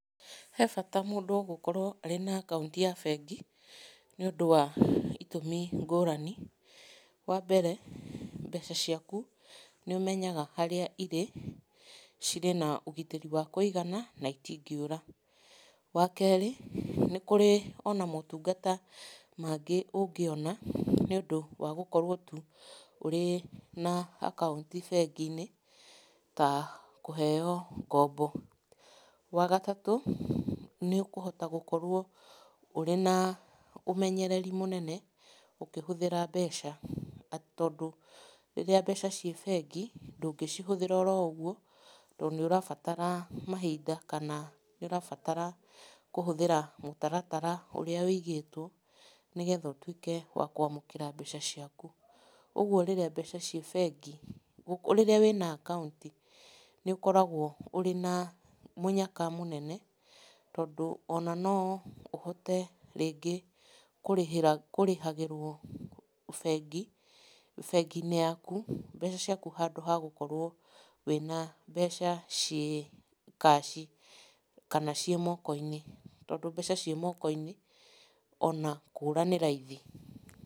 He bata mũndũ gũkorwo arĩ na akaũnti ya bengi nĩũndũ wa itũmi ngũrani. Wambere mbeca ciaku nĩũmenyaga harĩa ĩrĩ cirĩ na ũgitĩri wa kũigana na itingĩũra. Wakeri, nĩkũrĩ ona motunga mangĩ ũngĩona nĩũndũ wa gũkorwo tu ũrĩ na akaũnti bengi-inĩ ta kũheywo ngombo. Wagatatũ, nĩũkũhota gũkorwo ũrĩ na ũmenyereri mũnene ũkĩhũthĩra mbeca atĩ, tondũ rĩrĩa mbeca ciĩ bengi ndũngĩcihũthĩra oroũgwo, tondũ nĩũrabatara mahinda kana nĩũrabatara kũhũthĩra mũtaratara ũrĩa wĩigĩtwo nĩgetha ũtuĩke wakwamũkĩra mbeca ciaku. Ũgwo rĩrĩa mbeca ciĩ bengi, rĩrĩa wĩna akaũnti nĩ ũkoragwo wĩna mũnyaka mũnene tondũ ona noũhote rĩngĩ kũrĩhĩra, kũrĩhagĩrwo bengi, bengi-inĩ yaku mbeca ciaku handũ ha gũkorwo wĩna mbeca ciĩ cash kana ciĩ moko-inĩ tondũ mbeca ciĩ moko-inĩ ona kũũra nĩ raithi.